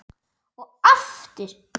Og aftur.